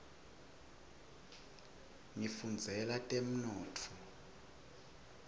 ngifundzela temnotfo